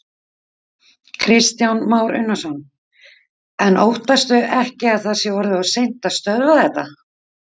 Kristján Már Unnarsson: En óttastu ekki að það sé orðið of seint að stöðva þetta?